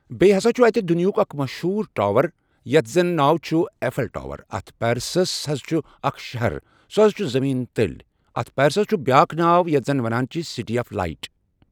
بیٚیہِ ہسا چھُ اتہِ دُنیاہک اکھ مٔشہوٗر ٹاور یتھ زن ناو چھُ ایٚفٮ۪ل ٹاور اتھ پیرسس حظ چھ اکھ شہر سۄ حظ چھِ زٔمیٖن تٔلۍ اتھ پیرسس چھُ بیاکھ ناو یتھ زن ونان چھِ سٹی آف لایٹ۔